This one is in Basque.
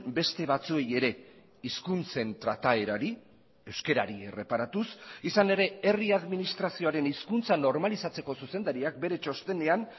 beste batzuei ere hizkuntzen trataerari euskarari erreparatuz izan ere herri administrazioaren hizkuntza normalizatzeko zuzendariak bere txostenean